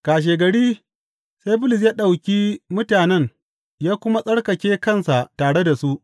Kashegari, sai Bulus ya ɗauki mutanen ya kuma tsarkake kansa tare da su.